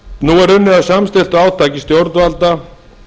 nú er unnið að samstilltu átaki stjórnvalda